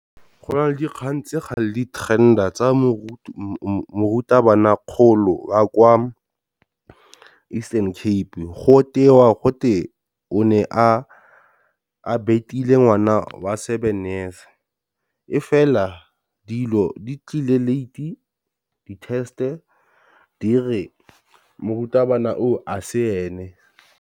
Go nale dikgang tse ga le di-trender tsa mo morutabana kgolo o a kwa Eastern Cape go tewa gote o ne a betile ngwana wa seven years, e fela dilo di tlile late di test dire morutabana o a se ene.